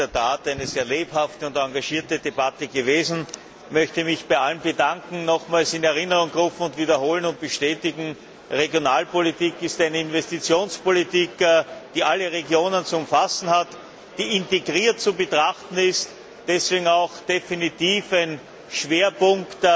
Das ist in der Tat eine sehr lebhafte und engagierte Debatte gewesen. Ich möchte mich bei allen bedanken und nochmals in Erinnerung rufen und wiederholen und bestätigen Regionalpolitik ist eine Investitionspolitik, die alle Regionen zu umfassen hat, die integriert zu betrachten ist, deswegen auch definitiv ein Schwerpunkt